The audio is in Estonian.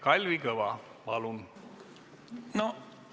Kalvi Kõva, palun!